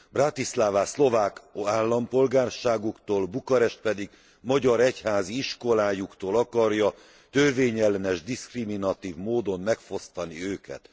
Bratislava szlovák állampolgárságuktól, Bukarest pedig magyar egyházi iskolájuktól akarja törvényellenes, diszkriminatív módon megfosztani őket.